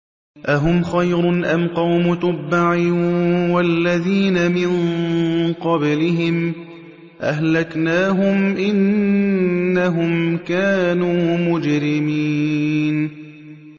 أَهُمْ خَيْرٌ أَمْ قَوْمُ تُبَّعٍ وَالَّذِينَ مِن قَبْلِهِمْ ۚ أَهْلَكْنَاهُمْ ۖ إِنَّهُمْ كَانُوا مُجْرِمِينَ